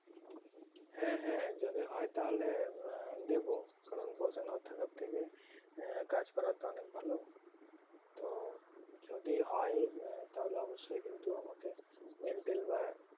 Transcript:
হ্যাঁ হ্যাঁ যদি হয়ে তাহলে আহ দেব কারণ বসে না থাকার থেকে হ্যাঁ কাজ করা তো অনেক ভালো তো যদি হয়ে তাহলে অব্যশই কিন্তু আমাকে mail টেল বা